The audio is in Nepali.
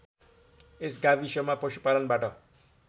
यस गाविसमा पशुपालनबाट